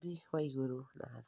Mũmbi wa igũrũ na thĩ